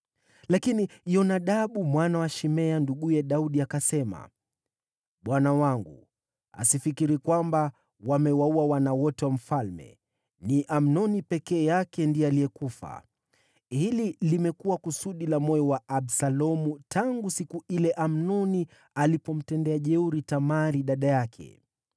Lakini Yonadabu mwana wa Shimea, nduguye Daudi, akasema, “Bwana wangu asifikiri kwamba wamewaua wana wote wa mfalme; ni Amnoni peke yake ndiye alikufa. Hili limekuwa kusudi la moyo wa Absalomu tangu siku ile Amnoni alipomtendea jeuri Tamari, dada yake.